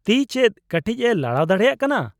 -ᱛᱤ ᱪᱮᱫ ᱠᱟᱹᱴᱤᱡ ᱮ ᱞᱟᱲᱟᱣ ᱫᱟᱲᱮᱭᱟᱜ ᱠᱟᱱᱟ ?